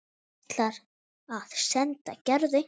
Ætlar að senda Gerði eintak.